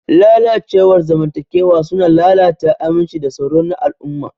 Lalacewar zamantakewa suna lalata aminci da tsaro na al'umma.